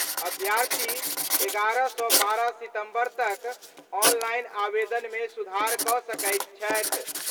अभ्यर्थी 11 सं 12 सितंबर तक ऑनलाइन आवेदन मे सुधार क' सकैत छथि।